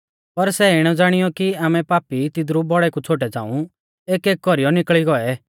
पर सै इणै ज़ाणीयौ कि आमै पापी तिदरु बौड़ै कु छ़ोटै झ़ांऊ एकएक कौरीऐ निकल़ी गौऐ और यीशु एखुली रौई गौ